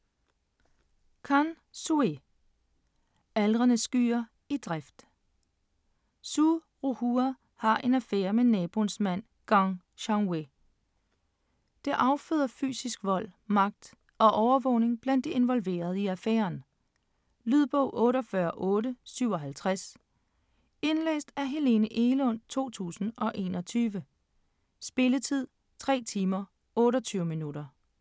Can, Xue: Aldrende skyer i drift Xu Ruhua har en affære med naboens mand Geng Shanwue. Det afføder psykisk vold, magt og overvågning blandt de involverede i affæren. Lydbog 48857 Indlæst af Helene Egelund, 2021. Spilletid: 3 timer, 28 minutter.